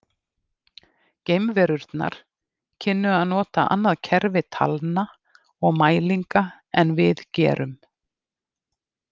Geimverurnar kynnu að nota annað kerfi talna og mælinga en við gerum.